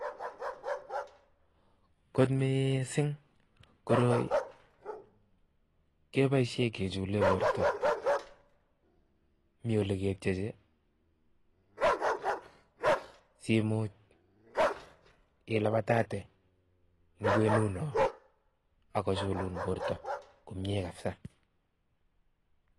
Kot mising koroi keboisie kechule borta mi ole ketyeje simuch ilabatate eng kwenuno akochulun borta komie kabisa.